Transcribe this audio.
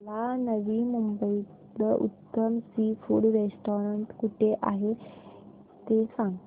मला नवी मुंबईतलं उत्तम सी फूड रेस्टोरंट कुठे आहे ते सांग